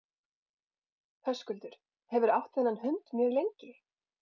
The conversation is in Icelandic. Höskuldur: Hefurðu átt þennan hund mjög lengi?